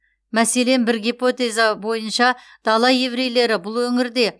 мәселен бір гипотеза бойынша дала еврейлері бұл өңірде